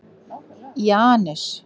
Janus